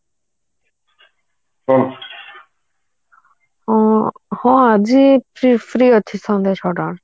ଉଁ ଆଜି free free ଅଛି ସନ୍ଧ୍ୟା ଛ ଅ ଟା ବେକେ